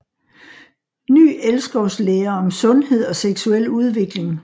Ny elskovslære om sundhed og seksuel udvikling